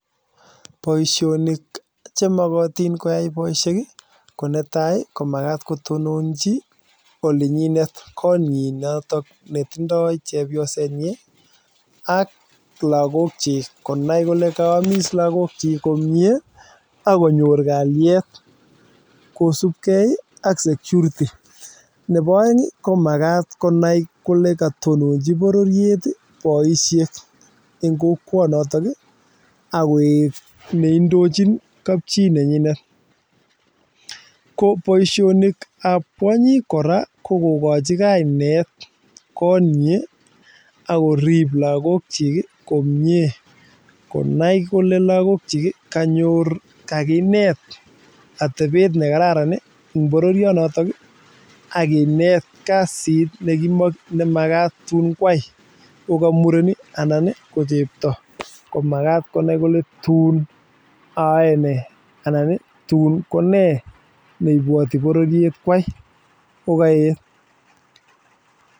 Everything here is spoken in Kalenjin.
Boisioni chemokotin koyai boishek ko netai ko makat ko tononchi olinyinet kotnyi notok netindoi chepyosetnyi ak lakok chi konai kole kaamis lakoko chi komie akonyor kalyet kosupkei ak security nepo oeng komakat konai kole katononji pororiet boishek eng kokwonotok ak koek neindochin kapchii nenyinet koboishonik ap kwonyik kora ko kokochi kainet kot nyi akorip lakok chik komie konai kole lakok chi kakinet atepet nekararan eng pororionoton akinet kasit nemakat tun kwai ngoka muren anan ko chepto komakat konai kole tuun ayoe ne anan tuun ko nee neipwoti pororiet kwai ko kaet.